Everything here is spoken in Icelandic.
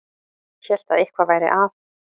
Hélt að eitthvað væri að.